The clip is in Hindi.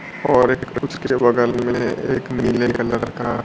और एक उसके बगल में एक नीले कलर का--